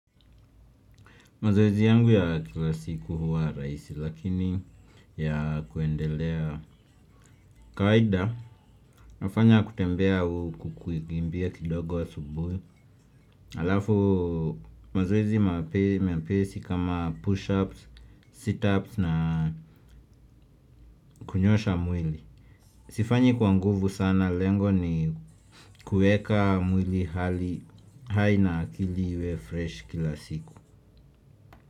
Mazoezi yangu ya kila siku huwa rahisi, lakini ya kuendelea kawaida nafanya ketembea huku kukimbia kidogo asubuhi alafu mazoezi mepesa kama push up sit up na kunyosha mwili. Sifanyi kwa nguvu sana lengo ni kuweka mwili hali hai na kili iwe fresh kila siku.